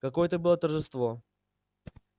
какое это было торжество